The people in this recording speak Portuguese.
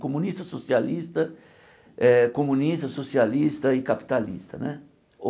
Comunista, socialista eh, comunista, socialista e capitalista né.